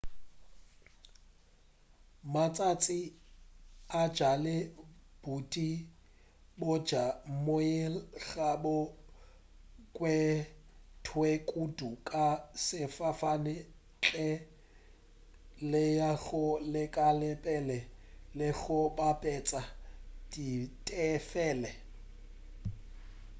matšatši a bjale boeti bja moyeng ga bo kgethwe kudu ka sefofane ntle le go lekola pele le go bapetša ditefelo